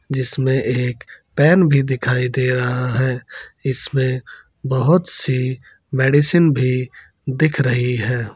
जिसमे एक पेन भी दिखाई दे रहा है इसमें बहुत सी मेडिसिन भी दिख रही है।